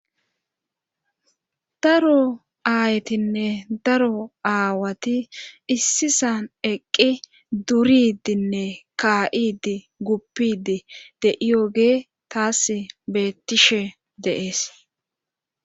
daro aaytinne daro aawati issisan eqqi duridinne ka7idi guppidi de7iyoge taas beettishe de7ees